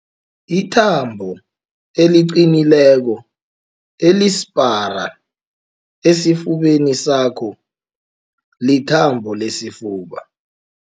Ithambo eliqinileko elisipara esifubeni sakho lithambo lesifuba.